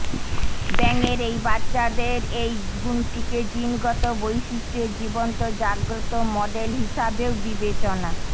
ব্যাঙের এই বাচ্চাদের এই গুণটিকে জিনগত বৈশিষ্ট্যের জীবন্ত জাগ্রত মডেল হিসাবেও বিবেচনা